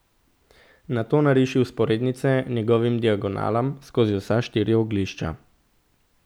Nato nariši vzporednice njegovim diagonalam skozi vsa štiri oglišča.